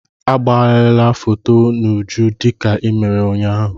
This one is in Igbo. Agbagharala foto n'uju dịka i mere ụnyaahụ!